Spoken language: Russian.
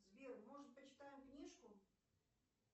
сбер может почитаем книжку